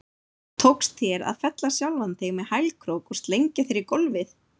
Tókst þér að fella sjálfan þig með hælkrók og slengja þér í gólfið?